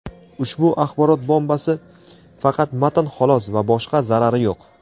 Ushbu "axborot bombasi" faqat matn xolos - va boshqa zarari yo‘q.